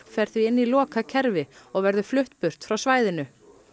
fer því inn í lokað kerfi og verður flutt burt frá svæðinu